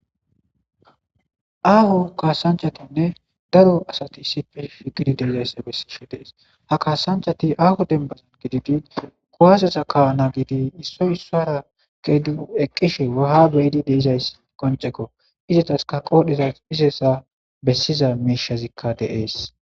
Aaho kaasanchatinne daro asati sifesfigidi deezayssa bessishe dees ha kaasanchati aaho dembazan gididi kuwasesa kaana gidi issoy issara ge du eqqishe waha beyidi deezays qoncekko izetaska qoodheza izesa bessiza miishazikka deees.